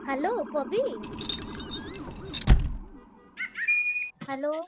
Hello ପବି Hello ।